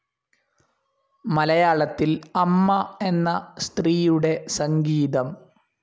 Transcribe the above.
മലയാളത്തിൽ അമ്മ എന്ന സ്ത്രീയുടെ സംഗീതം.